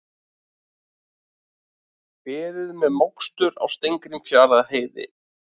Beðið með mokstur á Steingrímsfjarðarheiði